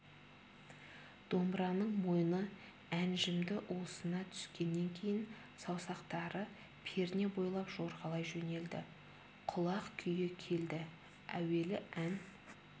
домбыраның мойны әнжімді уысына түскеннен кейін саусақтары перне бойлап жорғалай жөнелді құлақ күйі келді әуелі ән